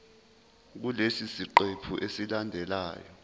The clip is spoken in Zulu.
kulesi siqephu esilandelayo